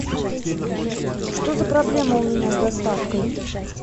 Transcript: что за проблема у меня с доставкой